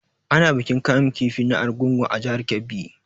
Ana bikin kamun kifi na Argungu a jihar Kebbi.